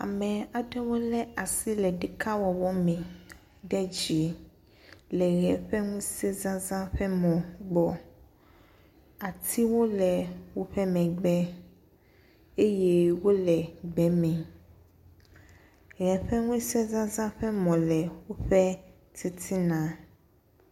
Ame aɖewo lé asi ɖe ɖekawɔwɔ me ɖe dzi, le ʋe ƒe ŋusẽzazã ƒe mɔ gbɔ. Atiwo le woƒe megbe eye wole gbe me. Ʋe ƒe ŋusẽzazã ƒe mɔ le woƒe titina.